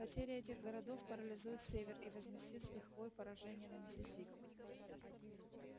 потеря этих городов парализует север и возместит с лихвой поражение на миссисипи